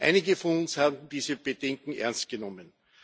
Einige von uns haben diese Bedenken ernst genommen.